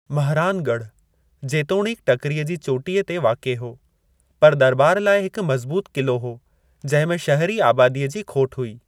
महरानगढ़, जेतोणीकि टकिरीअ जी चोटीअ ते वाक़िए हो, पर दरॿार लाइ हिक मज़बूतु क़िलो हो, जंहिं में शहिरी आबादीअ जी खोटि हुई।